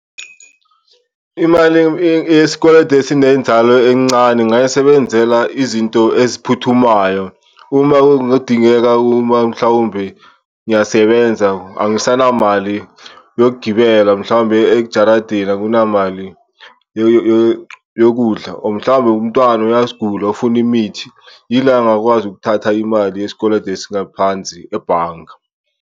Imali yesikweletu esinenzalo encane ngingayisebenzela izinto eziphuthumayo uma kungadingeka uma mhlawumbe ngiyasebenza angisanamali yokugibela, mhlawumbe ejaradini akunamali yokudla or mhlawumbe umntwana uyasigula ufuna imithi. Yila ngingakwazi ukuthatha imali yesikweletu esingaphansi ebhanga.